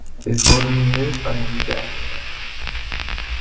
Við fórum í miðbæinn í gær